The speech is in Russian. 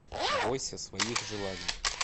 бойся своих желаний